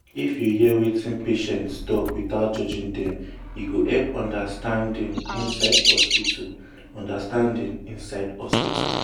if you hear wetin patient talk without judging dem e go help understanding inside hospital. understanding inside hospital.